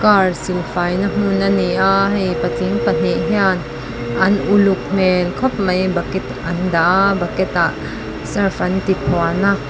car silfai na hmun a ni a hei patling pahnih hian an uluk hmel khawp mai bucket an dah a bucket ah surf an ti phuan a.